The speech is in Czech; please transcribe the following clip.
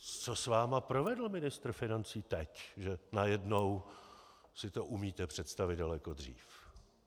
Co s vámi provedl ministr financí teď, že najednou si to umíte představit daleko dřív?